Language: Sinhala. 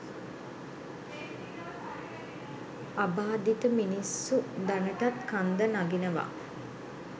අබාධිත මිනිස්සු දැනටත් කන්ද නගිනවා